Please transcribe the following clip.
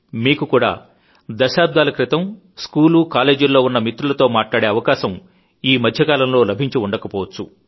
మీకు కూడా దశాబ్దాల క్రితం స్కూలు కాలేజీల్లో ఉన్న మిత్రులతో మాట్లాడే అవకాశం ఈ మధ్యకాలంలో లభించి ఉండకపోవచ్చు